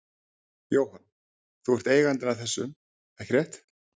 Jóhann: Þú ert eigandinn að þessum, ekki rétt?